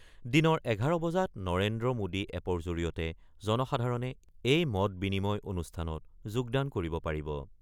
দিনৰ ১১ বজাত নৰেন্দ্ৰ মোডী এপৰ জৰিয়তে জনসাধাৰণে এই মত-বিনিময় অনুষ্ঠানত যোগদান কৰিব পাৰিব।